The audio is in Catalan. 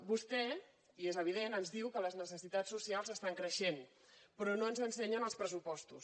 vostè i és evident ens diu que les necessitats socials estan creixent però no ens ensenyen els pressupostos